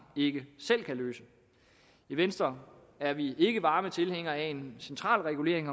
ikke selv kan løse i venstre er vi ikke varme tilhængere af en central regulering